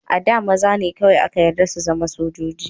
A da, maza ne kawai aka yarda su zama sojoji.